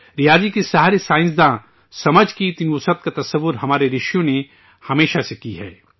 ریاضی کے سہارے سائنسی فہم کی اتنی توسیع کا تصور ہمارے رشیوں نے ہمیشہ سے کیا ہے